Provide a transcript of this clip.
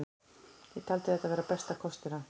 Ég taldi þetta vera bestu kostina.